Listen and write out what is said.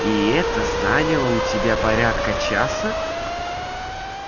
и это заняло у тебя порядка часа